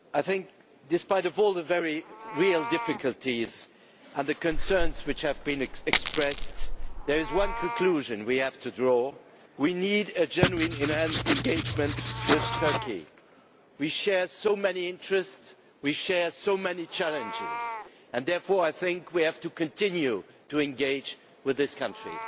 Madam President, I think that, despite all the very real difficulties and the concerns which have been expressed, there is one conclusion we have to draw we need a genuine enhanced engagement with Turkey. We share so many interests, we share so many challenges, and therefore I think we have to continue to engage with this country.